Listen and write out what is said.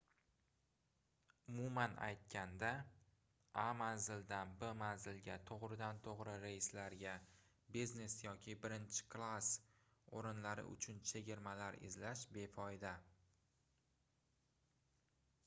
umuman aytganda a manzildan b manzilga togʻridan-toʻgʻri reyslarga biznes yoki birinchi klass oʻrinlari uchun chegirmalar izlash befoyda